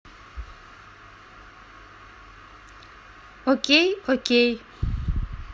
окей окей